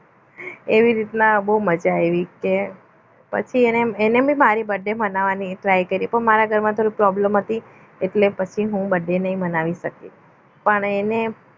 એવી રીતના બહુ મજા આવી કે પછી એને એને પણ મારી birthday બનાવવાની try કરી પણ મારા ઘરમાં problem હતી એટલે હું પછી હું birthday નહીં બનાવી શકી પણ એને